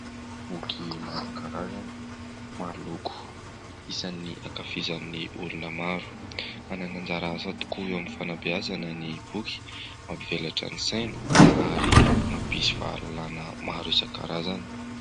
Boky isan-karazany maroloko isan'ny ankafizan'ny olona maro manana anjara asa tokoa eo amin'ny fanambeazana ny boky, mampivelatra ny saina ary mampisy fahalalana maro isan-karazany.